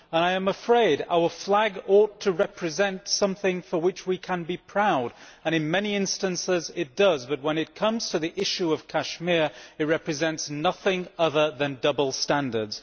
I am afraid that our flag ought to represent something for which we can be proud and in many instances it does but, when it comes to the issue of Kashmir, it represents nothing other than double standards.